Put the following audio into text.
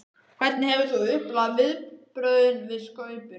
Hvernig hefur þú upplifað viðbrögðin við Skaupinu?